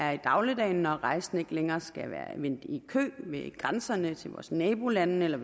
er i dagligdagen når rejsende ikke længere skal vente i kø ved grænserne til vores nabolande eller